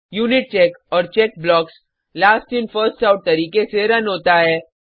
unitcheck और check blocks last in first out तरीके से रन होता है